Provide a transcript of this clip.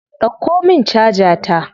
Dauko min caja ta.